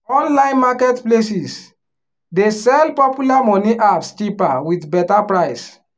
online market places dey sell popular money apps cheaper with better price.